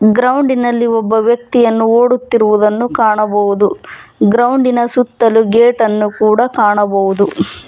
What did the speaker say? ಗ್ರೌಂಡಿನಲ್ಲಿ ಒಬ್ಬ ವ್ಯಕ್ತಿಯನ್ನು ಒಡುತ್ತಿರುವುದನ್ನು ಕಾಣಬಹುದು ಗ್ರೌಂಡಿನ ಸುತ್ತ ಗೇಟನ್ನು ಕೂಡ ಕಾಣಬಹುದು.